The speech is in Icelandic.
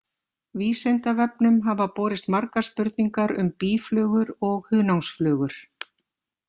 Vísindavefnum hafa borist margar spurningar um býflugur og hunangsflugur.